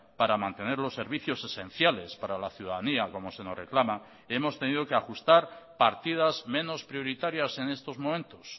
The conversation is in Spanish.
para mantener los servicios esenciales para la ciudadanía como se nos reclama hemos tenido que ajustar partidas menos prioritarias en estos momentos